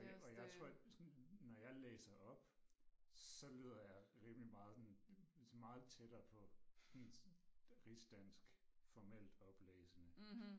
Og og jeg tror sådan når jeg læser op så lyder jeg rimelig meget sådan meget tættere på rigsdansk formelt oplæsende